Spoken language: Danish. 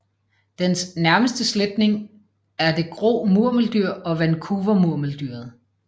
Dens nærmeste slægtning er det grå murmeldyr og Vancouvermurmeldyret